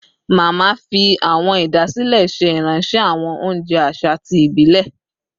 Mama fi awọn idasile ṣe iranṣẹ awọn ounjẹ aṣa ti ibilẹ